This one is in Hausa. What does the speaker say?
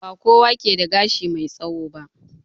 Ba kowa ke da gashi mai tsawo ba.